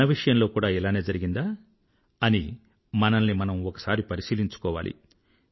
మన విషయంలో కూడా ఇలానే జరిగిందా అని మనల్ని మనం ఒకసారి పరిశీలించుకోవాలి